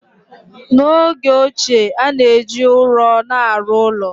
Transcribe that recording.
N'oge ochie, a na-eji ụrọ na-arụ ụlọ.